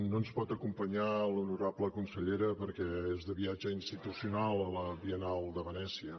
no ens pot acompanyar l’honorable consellera perquè és de viatge institucional a la biennal de venècia